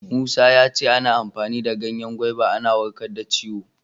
Musa ya ce ana amfani da ganyen gwaiva ana warkar da ciwo.